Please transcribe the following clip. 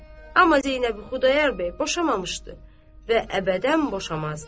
Amma Zeynəbi Xudayar bəy boşamamışdı və əbədən boşamazdı.